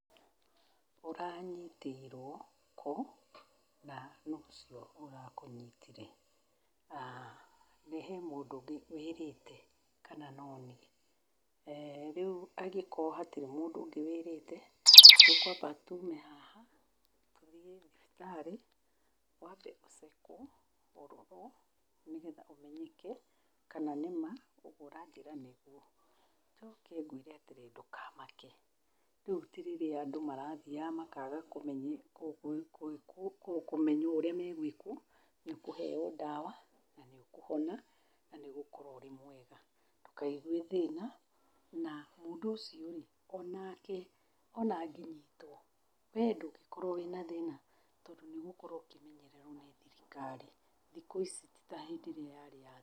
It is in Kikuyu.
Ũranyitĩirwo kũũ na nũũ ũcio ũrakũnyitire? He mũndũ ungĩ wĩrĩte kana no niĩ? Rĩu angĩkorwo hatirĩ mũndũ ũngĩ wĩrĩte tũkwamba tuume haha tũthiĩ thibitarĩ wambe ũcekwo ũrorwo, nĩ getha ũmenyeke kana nĩ ma ũguo ũranjĩra nĩguo. Njoke ngwĩre atĩrĩ ndũkamake, rĩu ti rĩrĩa andũ marathiaga makaga kũmenywo ũria megwĩkwo nĩũkũheo dawa na nĩ ũkũhona na nĩ ũgũkorwo ũrĩ mwega. Ndũkaigue thĩĩna na mũndũ ũcio-rĩ onake ona angĩnyitwo we ndũngĩkorwo wĩna thĩna tondũ nĩ ũgũkorwo ũkĩmenyererwo nĩ thirikari thikũ ici ti ta hĩndĩ ĩrĩa yarĩ ya